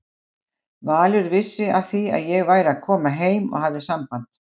Valur vissi af því að ég væri að koma heim og hafði samband.